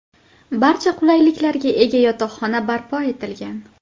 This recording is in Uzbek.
Barcha qulayliklarga ega yotoqxona barpo etilgan.